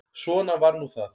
Svona var nú það.